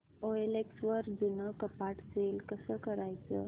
OLX वर जुनं कपाट सेल कसं करायचं